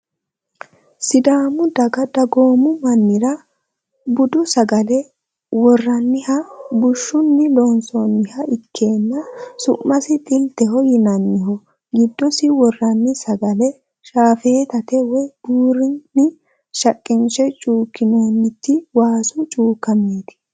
Sidaamu daga dagoomu mannira budu sagale worranniha bushshunni loosaminoha ilkenna su'masi xilteho yinanniho giiddosi worranni sagale shaafeetate woy buurunni shaqqinshe cuukkinoonniti waasu cuukkameeti